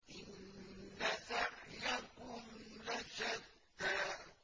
إِنَّ سَعْيَكُمْ لَشَتَّىٰ